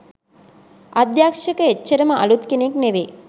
අධ්‍යක්ෂක එච්චරම අළුත් කෙනෙක් නෙවේ